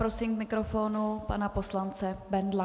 Prosím k mikrofonu pana poslance Bendla.